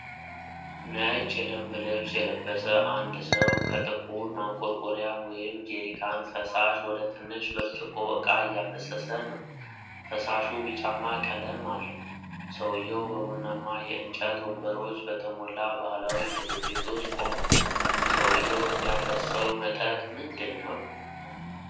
ነጭ የደንብ ልብስ የለበሰ አንድ ሰው ከጥቁር ማንቆርቆሪያ (ጄሪካን) ፈሳሽ ወደ ትንሽ ብርጭቆ ዕቃ እያፈሰሰ ነው። ፈሳሹ ቢጫማ ቀለም አለው። ሰውየው በቡናማ የእንጨት ወንበሮች በተሞላ ባህላዊ ምግብ ቤት ውስጥ ቆሟል። ሰውየው የሚያፈስሰው መጠጥ ምንድን ነው?